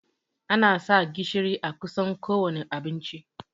Ana sa gishiri a kusan kowanne abinci